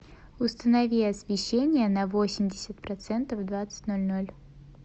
установи освещение на восемьдесят процентов в двадцать ноль ноль